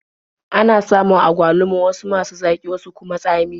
Ana samun agwaluma wasu masu zaƙi wasu kuma tsami.